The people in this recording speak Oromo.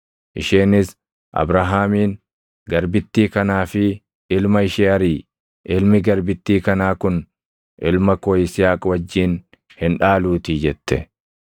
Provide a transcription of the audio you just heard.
isheenis Abrahaamiin, “Garbittii kanaa fi ilma ishee ariʼi; ilmi garbittii kanaa kun ilma koo Yisihaaq wajjin hin dhaaluutii” jette.